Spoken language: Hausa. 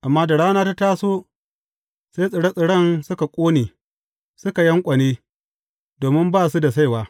Amma da rana ta taso, sai tsire tsiren suka ƙone, suka yanƙwane, domin ba su da saiwa.